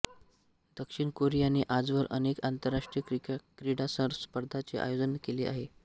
दक्षिण कोरियाने आजवर अनेक आंतरराष्ट्रीय क्रीडा स्पर्धांचे आयोजन केले आहे